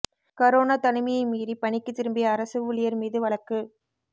corona தனிமையை மீறி பணிக்குத் திரும்பிய அரசு ஊழியா் மீது வழக்கு